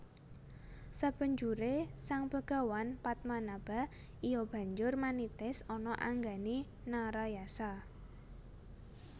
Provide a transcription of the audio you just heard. Sabanjure Sang begawan Padmanaba iya banjur manitis ana anggane Narayasa